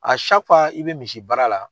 i bɛ misi baara la,